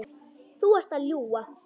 Þú ert að ljúga!